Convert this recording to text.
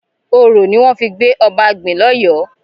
Orò ni wón fíí gbé oba gbìn l'Óyó.